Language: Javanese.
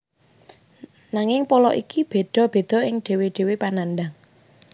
Nanging pola iki bedha bedha ing dhewe dhewe panandhang